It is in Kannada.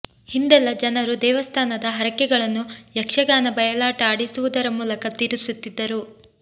ಹಿಂದೆಲ್ಲ ಜನರು ದೇವಸ್ಥಾನದ ಹರಕೆಗಳನ್ನು ಯಕ್ಷಗಾನ ಬಯಲಾಟ ಆಡಿಸುವುದರ ಮೂಲಕ ತೀರಿಸುತ್ತಿದ್ದರು